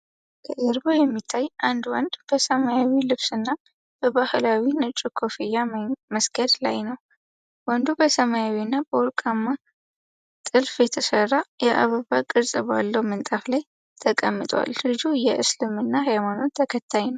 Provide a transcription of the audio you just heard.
ከጀርባው የሚታይ አንድ ወንድ በሰማያዊ ልብስ እና በባህላዊ ነጭ ኮፍያ መስገድ ላይ ነው። ወንዱ በሰማያዊና በወርቃማ ጥልፍ በተሰራ የአበባ ቅርጽ ባለው ምንጣፍ ላይ ተቀምጧል። ልጁ የ እስልምና ሀይማኖት ተከታይ ነው።